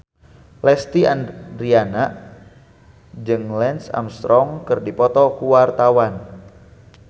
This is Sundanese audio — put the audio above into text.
Lesti Andryani jeung Lance Armstrong keur dipoto ku wartawan